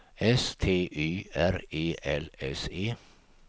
S T Y R E L S E